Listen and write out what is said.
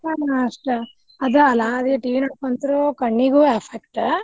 ಹಾ ಅಷ್ಟ ಅದ ಅಲ್ಲ ಅದೇ TV ನೋಡ್ಕೊಂಡ್ ಕುಂತ್ರು ಕಣ್ಣಿಗೂ effect ಉ.